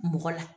Mɔgɔ la